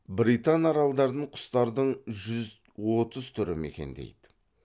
британ аралдарын құстардың жүз отыз түрі мекендейді